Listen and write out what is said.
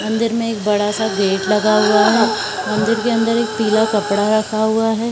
मंदिर में एक बड़ा-सा गेट लगा हुआ है मंदिर के अंदर एक पीला कपड़ा रखा हुआ है।